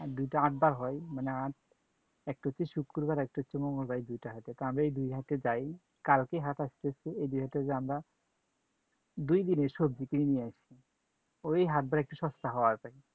আর দুইটা হাট বার হয়, মানে হাট একটা হচ্ছে শুক্রবার আর একটা হচ্ছে মঙ্গলবার এই দুইটা হাটে। তো আমরা এই দুই হাটে যাই। কালকে হাট আসতেছে এই দুই হাটে যেয়ে আমরা দুইদিনের সবজি কিনে নিয়ে আসি। ঐ হাটবার একটু সস্তা পাওয়া যায়